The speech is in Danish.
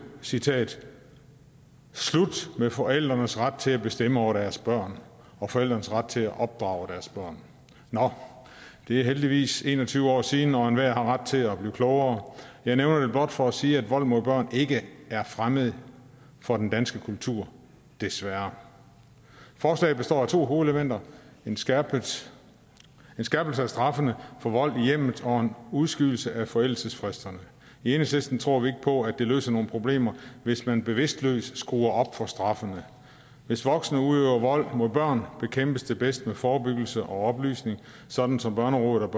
citerer igen slut med forældrenes ret til at bestemme over deres børn og forældrenes ret til at opdrage deres børn nå det er heldigvis en og tyve år siden og enhver har ret til at blive klogere jeg nævner det blot for at sige at vold mod børn ikke er fremmed for den danske kultur desværre forslaget består af to hovedelementer en skærpelse skærpelse af straffene for vold i hjemmet og en udskydelse af forældelsesfristerne i enhedslisten tror vi på at det løser nogen problemer hvis man bevidstløst skruer op for straffene hvis voksne udøver vold mod børn bekæmpes det bedst med forebyggelse og oplysning sådan som børnerådet